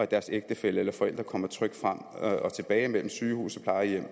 deres ægtefælle eller forældre kommer trygt frem og tilbage mellem sygehus og plejehjem og